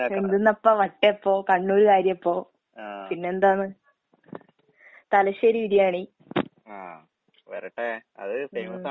എന്ത്ന്നപ്പാ വട്ടയപ്പോം, കണ്ണൂര് കാരിയപ്പോം. പിന്നെന്താണ്? തലശ്ശേരി ബിരിയാണി. ഉം.